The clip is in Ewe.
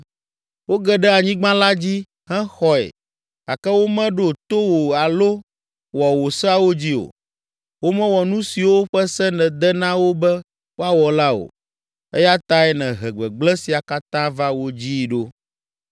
Woge ɖe anyigba la dzi hexɔe gake womeɖo to wò alo wɔ wò seawo dzi o. Womewɔ nu siwo ƒe se nède na wo be woawɔ la o, eya tae nèhe gbegblẽ sia katã va wo dzii ɖo.